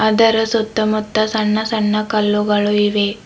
ಅದರ ಸುತ್ತಮುತ್ತ ಸಣ್ಣ ಸಣ್ಣ ಕಲ್ಲುಗಳು ಇವೆ.